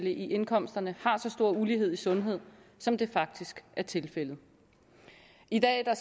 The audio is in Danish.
i indkomsterne har så stor ulighed i sundhed som det faktisk er tilfældet i dag er